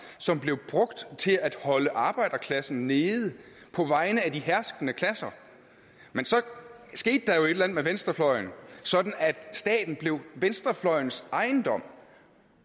som blev brugt til at holde arbejderklassen nede på vegne af de herskende klasser men så skete der jo et eller andet med venstrefløjen sådan at staten blev venstrefløjens ejendom